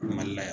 Mali la yan